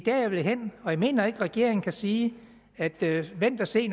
jeg vil hen og jeg mener ikke at regeringen kan sige at vi skal vente og se